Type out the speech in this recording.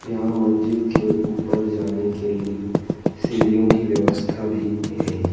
यहां मस्जिद के ऊपर जाने के लिए सीढ़ियों की व्यवस्था भी है।